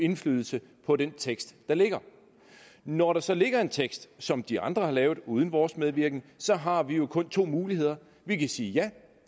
indflydelse på den tekst der ligger når der så ligger en tekst som de andre har lavet uden vores medvirkning så har vi jo kun to muligheder vi kan sige ja